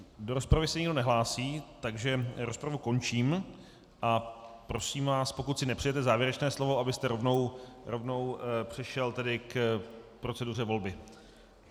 Do rozpravy se nikdo nehlásí, takže rozpravu končím a prosím vás, pokud si nepřejete závěrečné slovo, abyste rovnou přešel tedy k proceduře volby.